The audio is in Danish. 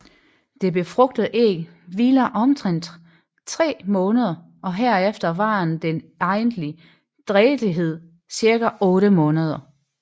Det befrugtede æg hviler omtrent tre måneder og herefter varer den egentlige drægtighed cirka otte måneder